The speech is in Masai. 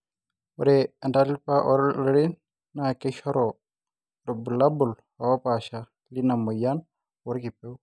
ore entalipa ooloreren na keishoru irbulalabul oopasha lina moyian orkipeu